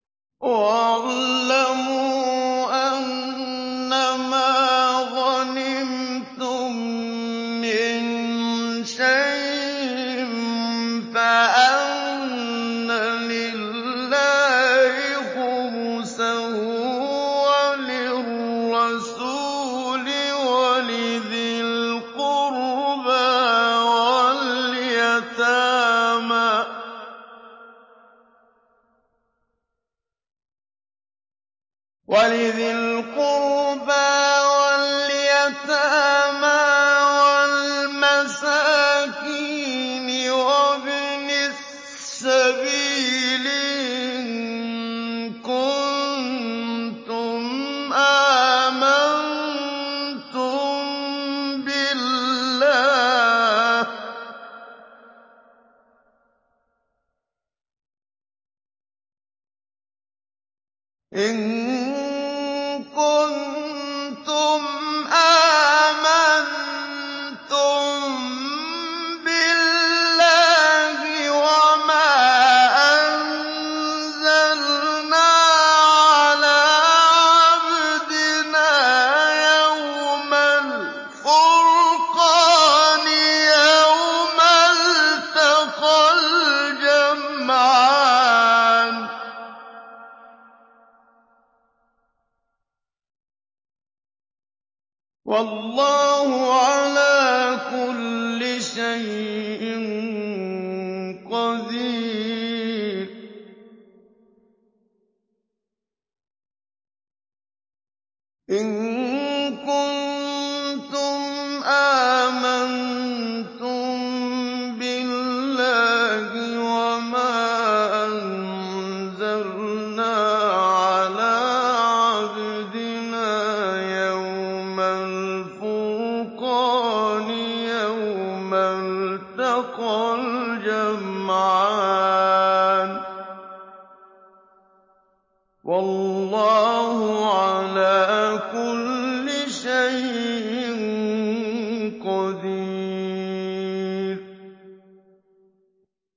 ۞ وَاعْلَمُوا أَنَّمَا غَنِمْتُم مِّن شَيْءٍ فَأَنَّ لِلَّهِ خُمُسَهُ وَلِلرَّسُولِ وَلِذِي الْقُرْبَىٰ وَالْيَتَامَىٰ وَالْمَسَاكِينِ وَابْنِ السَّبِيلِ إِن كُنتُمْ آمَنتُم بِاللَّهِ وَمَا أَنزَلْنَا عَلَىٰ عَبْدِنَا يَوْمَ الْفُرْقَانِ يَوْمَ الْتَقَى الْجَمْعَانِ ۗ وَاللَّهُ عَلَىٰ كُلِّ شَيْءٍ قَدِيرٌ